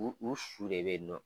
U u su de bɛ yen nɔ.